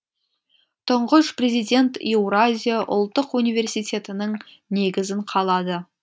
тұңғыш президент еуразия ұлттық университетінің негізін қалады